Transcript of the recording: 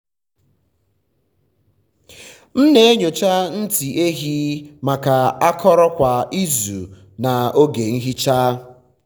m na-enyocha ntị ehi maka akọrọ kwa izu n’oge nhicha.